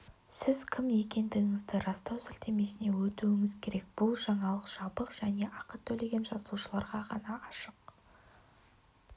сіз кім екендігіңізді растау сілтемесіне өтуіңіз керек бұл жаңалық жабық және ақы төлеген жазылушыларға ғана ашық